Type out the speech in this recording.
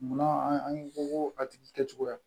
Munna an ko ko a tigi kɛcogoya